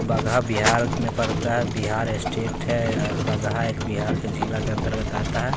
बगहा बिहार में पड़ता है बिहार स्टेट है बगहा एक बिहार के जिला के अंतर्गत आता है।